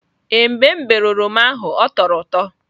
Ee, mgbe m berịe oroma ahụ ọ tọrọ ụtọ.